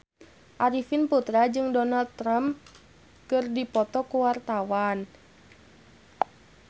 Arifin Putra jeung Donald Trump keur dipoto ku wartawan